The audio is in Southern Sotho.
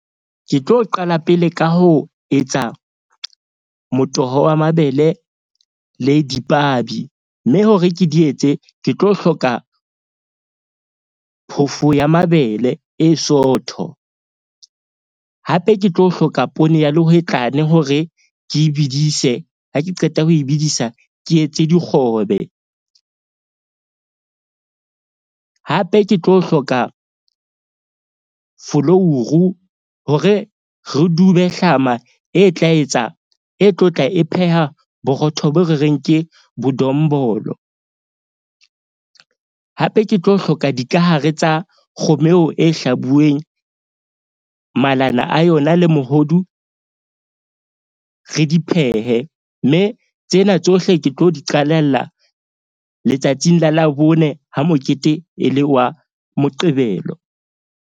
Ke tlo qala pele ka ho etsa motoho wa mabele le dipabi mme hore ke di etse, ke tlo hloka phofo ya mabele e sootho. Hape ke tlo hloka poone ya lehwetlane hore ke bedise ha ke qeta ho e bedisa, ke etse dikgobe. Hape, ke tlo hloka folouru hore re dube hlama e tla etsa e tlotla, e pheha borotho bo re reng ke bodombolo. Hape ke tlo hloka dikahare tsa kgomo eo e hlabuweng malana a yona le mohodu. Re di phehe, mme tsena tsohle ke tlo di qhalella letsatsing la Labone ha mokete e le wa Moqebelo.